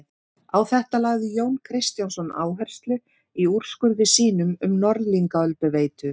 Á þetta lagði Jón Kristjánsson áherslu í úrskurði sínum um Norðlingaölduveitu.